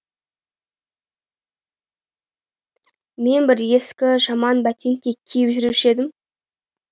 мен бір ескі жаман бәтеңке киіп жүруші едім